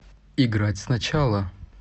играть сначала